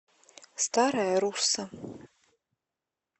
старая русса